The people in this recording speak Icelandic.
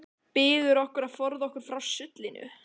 Biður okkur að forða okkur frá sullinu.